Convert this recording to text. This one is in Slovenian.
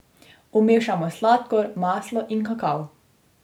Vmešamo sladkor, maslo in kakav.